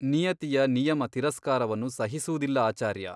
ನಿಯತಿಯ ನಿಯಮ ತಿರಸ್ಕಾರವನ್ನು ಸಹಿಸುವುದಿಲ್ಲ ಆಚಾರ್ಯ !